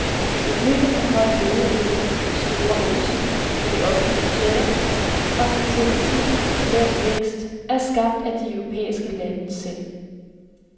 Problemet med høj ledighed, store underskud på de offentlige budgetter og en til tider lav vækst, er skabt af de europæiske lande selv.